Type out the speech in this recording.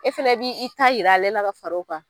E fana b'i ta yira ale la ka far'o kan.